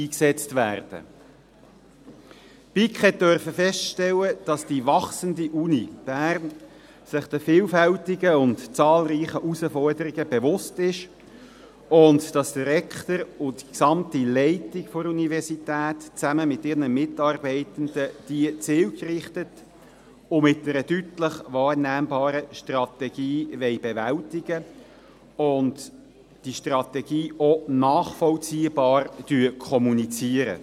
Die BiK durfte feststellen, dass die wachsende Universität Bern sich der vielfältigen und zahlreichen Herausforderungen bewusst ist und dass der Rektor und die gesamte Leitung der Universität zusammen mit ihren Mitarbeitenden diese zielgerichtet und mit einer deutlich wahrnehmbaren Strategie bewältigen wollen und diese Strategie auch nachvollziehbar kommunizieren.